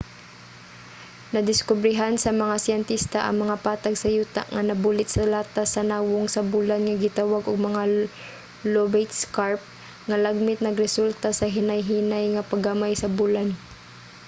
nadiskobrehan sa mga siyentista ang mga patag sa yuta nga nabulit sa latas sa nawong sa bulan nga gitawag og mga lobate scarp nga lagmit nagresulta sa hinay-hinay nga pagamay sa bulan